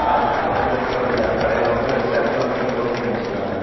அதுக்கு பக்கத்துல இனி ஒரு கடையில வந்து ஷட்டர் வந்து க்ளோஸ் பண்ணி வச்சிருக்காங்க.